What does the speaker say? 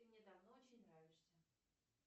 ты мне давно очень нравишься